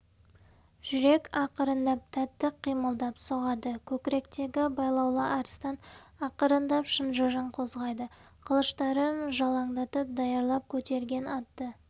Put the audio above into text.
жүрек ақырындап тәтті қимылдап соғады көкіректегі байлаулы арыстан ақырындап шынжырын қозғайды қылыштарын жалаңдатып даярлап көтерген атты